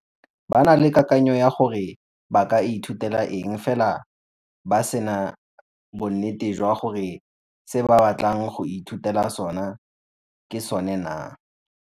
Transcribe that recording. Ba na le kakanyo ya gore ba ka ithutela eng fela ba se na bonnete jwa gore se ba batlang go ithutela sone ke sone naa.